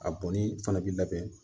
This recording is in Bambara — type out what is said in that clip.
A bɔnni fana bɛ labɛn